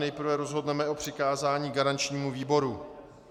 Nejprve rozhodneme o přikázání garančnímu výboru.